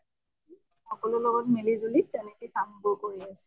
সকলোৰ লগত মিলি জুলি তেনেকে কাম বোৰ কৰি আছো।